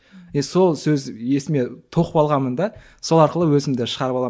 е сол сөз есіме тоқып алғанмын да сол арқылы өзімді шығарып аламын